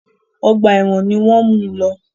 Ọgbà ẹ̀wọ̀n ni wọ́n mú u lọ.